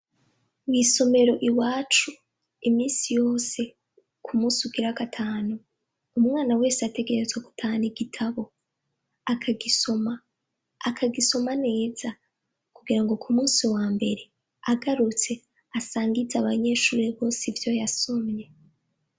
Mw’isomero iwacu, imisi yose kumus’ugira gatanu, umwana wese ategerezwa gutahan’igitabo akagisoma, akagisoma neza kugirango kumusi wambere agarutse asangiz’abanyeshure bose ivyo yasomye.